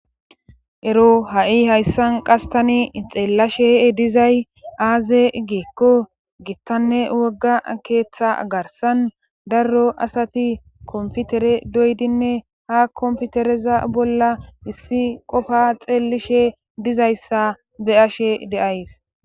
ero ha7i hayssan qastani xeellashe dizay aaze geekko gittanne wogga keeththa garsan darro asati komputere doydinne ha komputereza bolla issi qofa xeellishe dizayssa be ashe deays